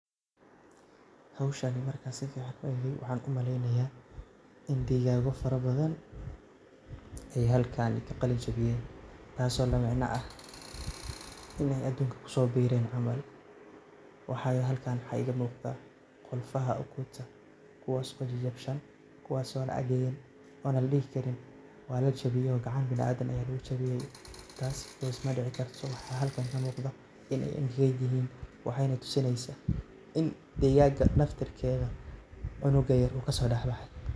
Howshani marka aan si ficaan u eegay waxaan u malaynayaa in dhigaago farabadan ay halkan ka qalan jibiyeen. Taas oo la macne ah inay aduunka ku soo biireen camal. waxay halkan waxaa iiga muuqdaa qolfaha ukunta, kuwaas oo jajabshan, kuwaas oo again oona la dhihi karin waa la jibiyay oo gacan bina'aadin ayaa lugu jibiyay. Taas because ma dhici karto.so waxaa halkan ka muuqdo in ay in heeg yihiin. Waxayna tusinaysaa in digaaga naftirkeeda cunuga yer uu ka soo dhexbahay.